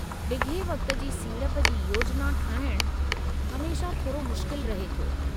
डिघे वक़्त जी सीड़प जी योजना ठाहिणु हमेशह थोरो मुश्किल रहे थो।